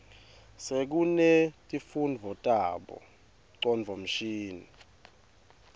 sekunetifundvo tabo ngcondvomshini